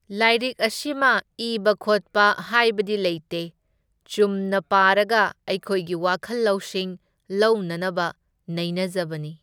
ꯂꯥꯏꯔꯤꯛ ꯑꯁꯤꯃ ꯏꯕ ꯈꯣꯠꯄ ꯍꯥꯏꯕꯗꯤ ꯂꯩꯇꯦ, ꯆꯨꯝꯅ ꯄꯥꯔꯒ ꯑꯩꯈꯣꯏꯒꯤ ꯋꯥꯈꯜ ꯂꯧꯁꯤꯡ ꯂꯧꯅꯅꯕ ꯅꯩꯅꯖꯕꯅꯤ꯫